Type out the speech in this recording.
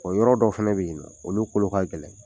O yɔrɔ dɔw fana be yen nɔ, olu kolo ka gɛlɛn.